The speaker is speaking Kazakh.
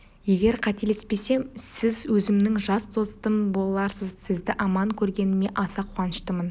егер қателеспесем сіз өзімнің жас достым боларсыз сізді аман көргеніме аса қуаныштымын